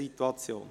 Soweit dazu.